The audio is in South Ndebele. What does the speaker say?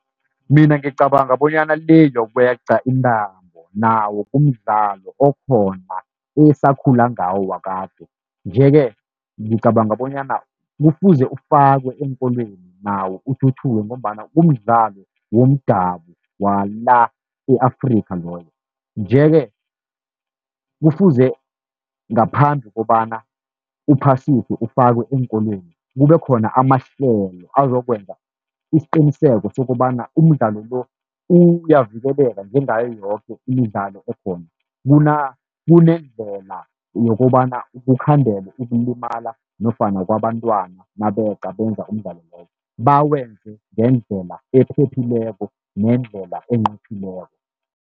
Mina ngicabanga bonyana le yokweqa intambo, nawo kumdlalo okhona esakhula ngawo wakade. Nje-ke ngicabanga bonyana kufuze ufakwe eenkolweni nawo uthuthuke, ngombana kumdlalo womdabu wala e-Afrikha loyo. Nje-ke kufuze ngaphambi kobana uphasiswe ufakwe eenkolweni, kube khona amahlelo azokwenza isiqiniseko sokobana umdlalo lo uyavikeleka njengayo yoke imidlalo ekhona. Kunendlela yokobana kukhandelwe ukulimala nofana kwabantwana nabeqa benza umdlalo loyo, bawenze ngendlela ephephileko nendlela enqophileko.